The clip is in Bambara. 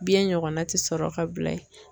Biɲɛn ɲɔgɔnna ti sɔrɔ ka bila yen.